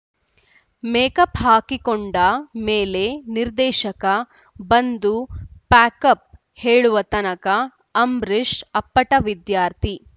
makeup ಹಾಕಿಕೊಂಡ ಮೇಲೆ ನಿರ್ದೇಶಕ ಬಂದು ಪ್ಯಾಕಪ್‌ ಹೇಳುವ ತನಕ ಅಂಬರೀಷ್‌ ಅಪ್ಪಟ ವಿದ್ಯಾರ್ಥಿ